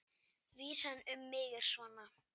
Vísan um mig er svona: